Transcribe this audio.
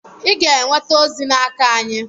Ị ga-enweta ozi n'aka anyị